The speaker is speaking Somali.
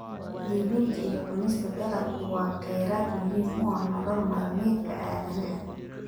Iibinta iyo cunista dalaggu waa kheyraad muhiim u ah nolol maalmeedka aadanaha.